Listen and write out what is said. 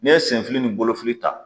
N'e ye senfili ni bolofili ta